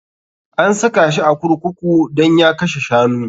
An saka shi a kurkuku dan ya kashe shanu.